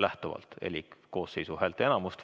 104 koosseisu häälteenamust.